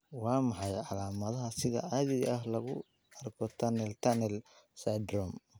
Waa maxay calaamadaha sida caadiga ah lagu arko tunnel tunnel syndrome?